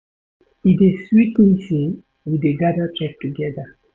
E dey sweet me sey we dey gada, chop togeda.